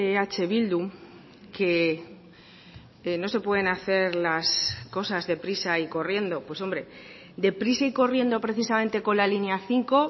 eh bildu que no se pueden hacer las cosas deprisa y corriendo pues hombre deprisa y corriendo precisamente con la línea cinco